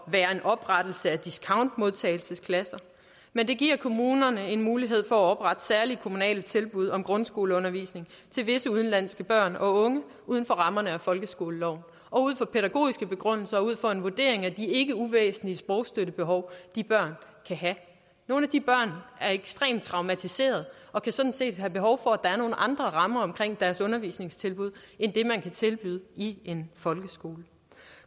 være en oprettelse af discountmodtagelsesklasser men det giver kommunerne en mulighed for at oprette særlige kommunale tilbud om grundskoleundervisning til visse udenlandske børn og unge uden for rammerne af folkeskoleloven og ud fra pædagogiske begrundelser og ud fra en vurdering af de ikke uvæsentlige sprogsstøttebehov de børn kan have nogle af de børn er ekstremt traumatiserede og kan sådan set have behov for at der er nogle andre rammer omkring deres undervisningstilbud end det man kan tilbyde i en folkeskole